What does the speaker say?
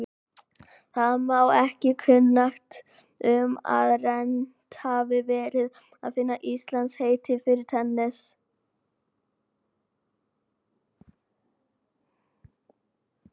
Mér er ekki kunnugt um að reynt hafi verið að finna íslenskt heiti fyrir tennis.